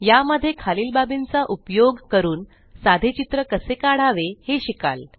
या मध्ये खालील बाबींचा उपयोग करून साधे चित्र कसे काढावे हे शिकाल